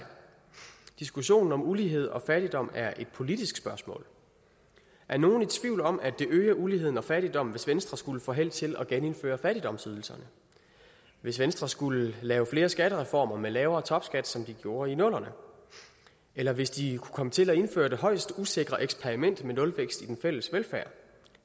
diskussionen om ulighed og fattigdom er et politisk spørgsmål er nogen i tvivl om at det ville øge uligheden og fattigdommen hvis venstre skulle få held til at genindføre fattigdomsydelserne hvis venstre skulle lave flere skattereformer med lavere topskat som de gjorde i nullerne eller hvis de kunne komme til at indføre det højst usikre eksperiment med nulvækst i den fælles velfærd